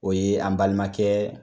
O ye an balimakɛ